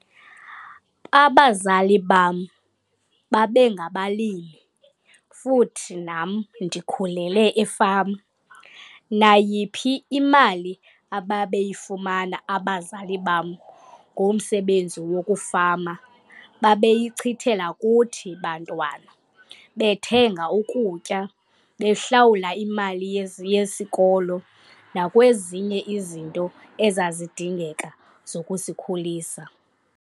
Abazali bam babengabalimi futhi nam ndikhulele efama. Nayiphi imali ababeyifumana abazali bam ngomsebenzi wokufama babeyichithela kuthi bantwana bethenga ukutya, behlawula imali yezi yesikolo nakwezinye izinto ezazidingeka zokusikhulisa.